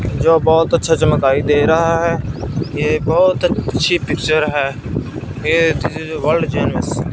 जो बहोत अच्छा चमकाई दे रहा है। ये बहोत अच्छी पिक्चर है। ये चीजे जो वर्ल्ड जैमस --